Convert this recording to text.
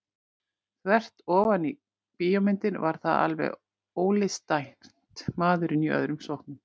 Þvert ofan í bíómyndir var það alveg ólistrænt maðurinn í öðrum sokknum.